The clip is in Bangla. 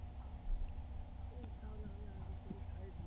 উম তাহলে আমি আগের থেকে side হই